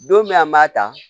Don min an b'a ta